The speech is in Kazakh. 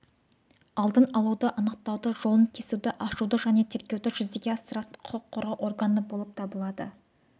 алдын алуды анықтауды жолын кесуді ашуды және тергеуді жүзеге асыратын құқық қорғау органы болып табылады